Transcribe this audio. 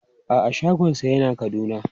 A'a shagonsa yana Kaduna.